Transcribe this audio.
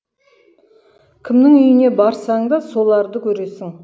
кімнің үйіне барсаң да соларды көресің